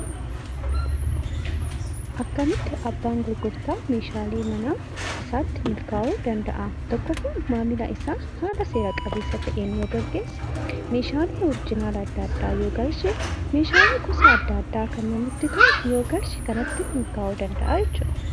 Akkamitti abbaan gurgurtaa meeshaalee manaa isaatti milkaa'uu danda'aa tokkoffaan maamila isaa seera qabeessa ta'een yoo gaggeesse, meeshaalee oriijinaala adda addaa yoo galche fi meeshaalee adda addaa yoo galche kanatti milkaa'uu danda'aa jechuudha.